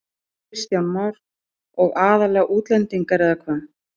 Kristján Már: Og aðallega útlendingar eða hvað?